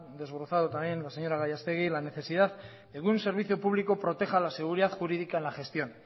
desglosado también la señora gallastegui la necesidad que un servicio público proteja la seguridad jurídica en la gestión